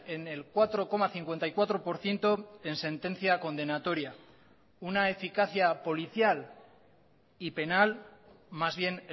en el cuatro coma cincuenta y cuatro por ciento en sentencia condenatoria una eficacia policial y penal más bien